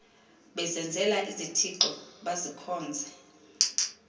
bezenzela izithixo bazikhonze